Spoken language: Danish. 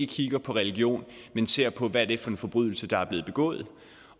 kigger på religion men ser på hvad det er for en forbrydelse der er blevet begået